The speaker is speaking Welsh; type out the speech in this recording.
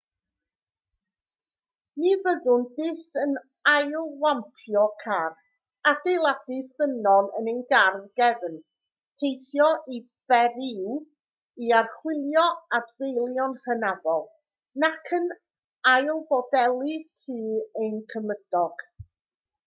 ni fyddwn byth yn ailwampio car adeiladau ffynnon yn ein gardd gefn teithio i beriw i archwilio adfeilion hynafol nac yn ailfodelu tŷ ein cymydog